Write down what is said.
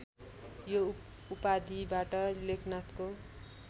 यो उपाधिबाट लेखनाथको